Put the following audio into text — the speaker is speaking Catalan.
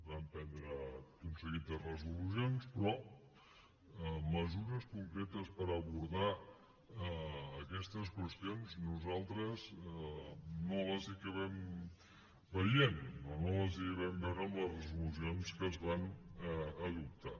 vam prendre tot un seguit de resolucions però mesures concretes per abordar aquestes qüestions nosaltres no les hi acabem veient o no les hi vam veure en les resolucions que es van adoptar